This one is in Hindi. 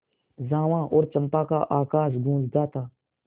जावा और चंपा का आकाश गँूजता था